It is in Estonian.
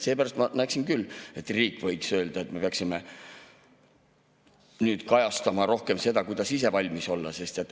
Seepärast ma näeksin küll, et riik võiks öelda, et me peaksime kajastama rohkem seda, kuidas ise valmis olla.